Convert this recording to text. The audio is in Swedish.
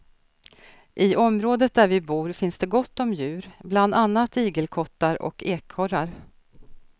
I området där vi bor finns det gott om djur, bland annat igelkottar och ekorrar.